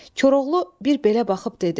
Koroğlu bir belə baxıb dedi.